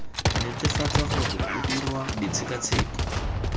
netefatsa gore o dirwa ditshekatsheko